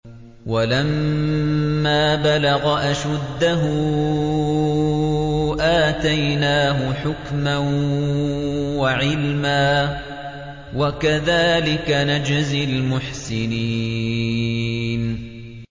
وَلَمَّا بَلَغَ أَشُدَّهُ آتَيْنَاهُ حُكْمًا وَعِلْمًا ۚ وَكَذَٰلِكَ نَجْزِي الْمُحْسِنِينَ